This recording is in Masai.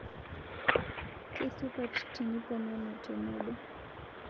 Keisupat tiniponunu tenobo